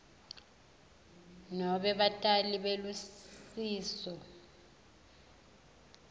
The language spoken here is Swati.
nobe batali belusiso